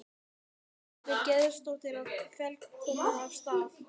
Ingveldur Geirsdóttir: Og er flóðbylgjan komin af stað?